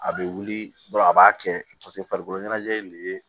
A bɛ wuli dɔrɔn a b'a kɛ paseke farikolo ɲɛnajɛ in de ye